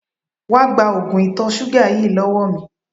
Wá gba oògùn ìtọ̀ ṣúgà yìí lọ́wọ́ mi!